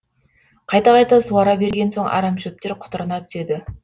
қайта қайта суара берген соң арамшөптер құтырына түседі